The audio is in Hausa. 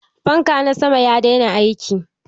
Fankana na sama ya daina aiki.